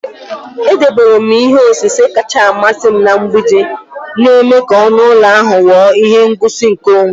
Edobere m ihe osise kacha amasị m na mgbidi, na-eme ka ọnụ ụlọ ahụ ghọọ ihe ngosi nke onwe.